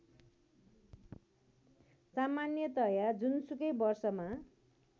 सामान्यतया जुनसुकै वर्षमा